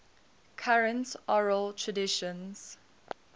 current oral traditions